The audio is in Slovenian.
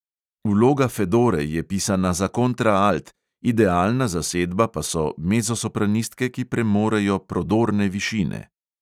Vloga fedore je pisana za kontraalt, idealna zasedba pa so mezzosopranistke, ki premorejo prodorne višine.